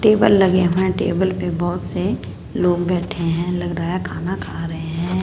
Table लगे हुए है टेबल पे बहुत से लोग बैठे है लग रहा है खाना खा रहे है।